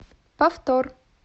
повтор